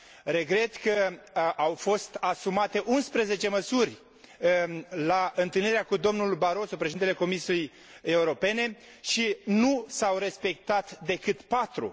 Regret că au fost asumate 11 măsuri la întâlnirea cu dl Barroso, președintele Comisiei Europene, și nu s au respectat decât patru.